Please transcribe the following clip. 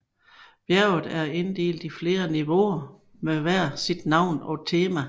Bjerget er inddelt i flere niveauer med hver sit navn og tema